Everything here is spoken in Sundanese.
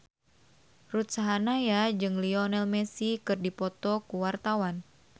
Ruth Sahanaya jeung Lionel Messi keur dipoto ku wartawan